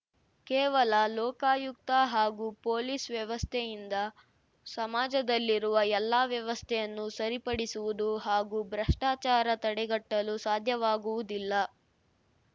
ಕೇವಲ ಲೋಕಾಯುಕ್ತ ಹಾಗೂ ಪೊಲೀಸ್‌ ವ್ಯವಸ್ಥೆಯಿಂದ ಸಮಾಜದಲ್ಲಿರುವ ಎಲ್ಲಾ ವ್ಯವಸ್ಥೆಯನ್ನು ಸರಿಪಡಿಸುವುದು ಹಾಗೂ ಭ್ರಷ್ಟಾಚಾರ ತಡೆಗಟ್ಟಲು ಸಾಧ್ಯವಾಗುವುದಿಲ್ಲ